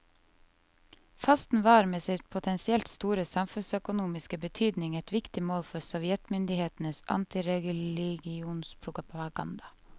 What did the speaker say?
Fasten var med sin potensielt store samfunnsøkonomiske betydning et viktig mål for sovjetmyndighetenes antireligionspropaganda.